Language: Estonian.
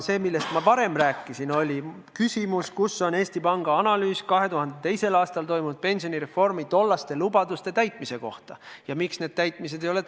See, millest ma varem rääkisin, oli küsimus sellest, kus on Eesti Panga analüüs 2002. aastal tehtud pensionireformi lubaduste täitmise kohta ja miks need lubadused täidetud ei ole.